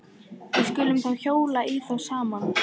Við skulum þá hjóla í þá saman.